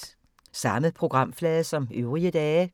Samme programflade som øvrige dage